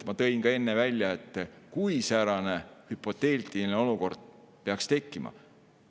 Ma enne ütlesin ka, et kui säärane – hüpoteetiline – olukord peaks tekkima, siis ...